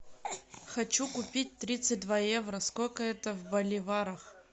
хочу купить тридцать два евро сколько это в боливарах